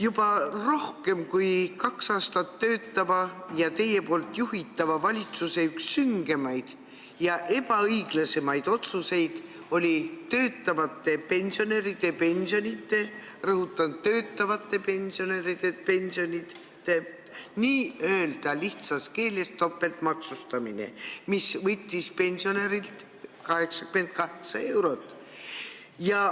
Juba rohkem kui kaks aastat töötava ja teie juhitava valitsuse üks süngemaid ja ebaõiglasemaid otsuseid oli töötavate pensionäride pensionite, rõhutan, töötavate pensionäride pensionite n-ö lihtsas keeles öeldes topeltmaksustamine, mis võttis pensionärilt 88 eurot.